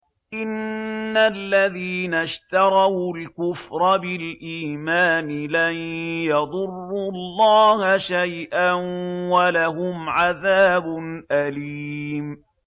إِنَّ الَّذِينَ اشْتَرَوُا الْكُفْرَ بِالْإِيمَانِ لَن يَضُرُّوا اللَّهَ شَيْئًا وَلَهُمْ عَذَابٌ أَلِيمٌ